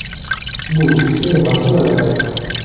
Bu kichkina masalalar emas.